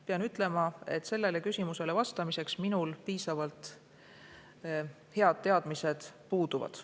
Pean ütlema, et sellele küsimusele vastamiseks minul piisavalt head teadmised puuduvad.